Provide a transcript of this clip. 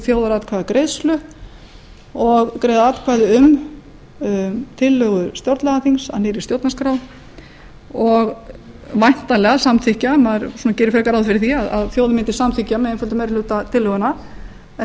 þjóðaratkvæðagreiðslu og greiða atkvæði um tillögu stjórnlagaþings að nýrri stjórnarskrá og væntanlega samþykkja maður gerir frekar ráð fyrir því að þjóðin mundi samþykkja tillöguna með einföldum meiri hluta en